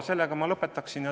Sellega ma lõpetaksin.